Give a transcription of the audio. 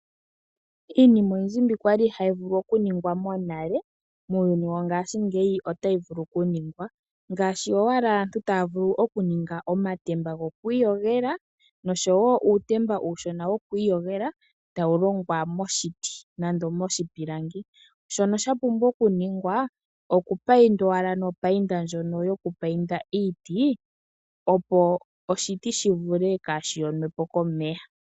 Iinima oyindji mbi kwali ihayi vulu okuningwa monale, muuyuni wongaashingeyi otayi vulu okuningwa ngaashi owala aantu taya vulu okuninga omatemba goku iyogela nosho woo uutemba uushona woku iyogela tawu longwa moshiti nande moshipilangi, shono sha pumbwa oku ningwa oku payindwa nopayinda ndjono yokupayinda iiti, opo oshiti shaa ha vule oku yonwapo komvula.